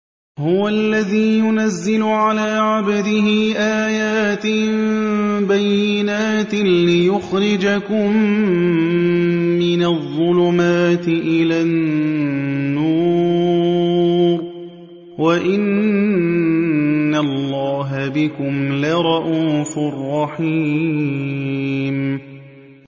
هُوَ الَّذِي يُنَزِّلُ عَلَىٰ عَبْدِهِ آيَاتٍ بَيِّنَاتٍ لِّيُخْرِجَكُم مِّنَ الظُّلُمَاتِ إِلَى النُّورِ ۚ وَإِنَّ اللَّهَ بِكُمْ لَرَءُوفٌ رَّحِيمٌ